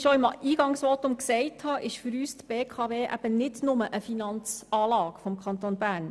Für uns ist die BKW eben nicht nur eine Finanzanlage des Kantons Bern.